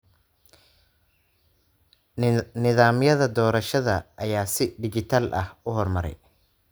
Nidaamyada doorashada ayaa si dhijitaal ah u horumaray.